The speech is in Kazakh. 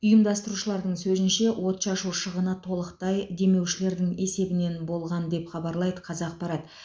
ұйымдастырушылардың сөзінше отшашу шығыны толықтай демеушілердің есебінен болған деп хабарлайды қазақпарат